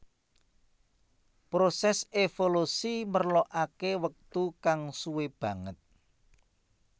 Prosès évolusi merlokaké wektu kang suwé banget